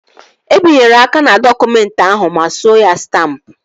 E binyere aka n'dọkụmentị ahụ ma suo ya stampụ